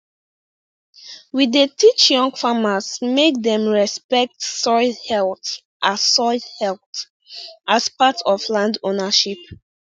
we dey teach young farmers make dem respect soil health as soil health as part of land ownership